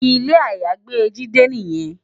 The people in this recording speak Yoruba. Ilé àyágbé Jide niyèn